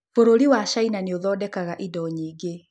Bũrũri wa China nĩ ũthondekaga indo nyingĩ.